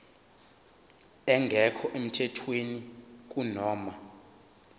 engekho emthethweni kunoma